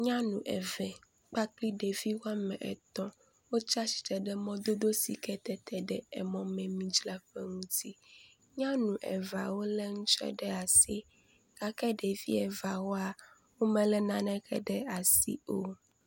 Nyanu eve kpakpli ɖevi woame etɔ̃ wotsi atsitre ɖe mɔdodo si ke tete ɖe emɔmemidzraƒe ŋuti. Nyanu eveawo lé nutsɔ ɖe asi gake ɖevi eveawoa, womelé naneke ɖe asi o.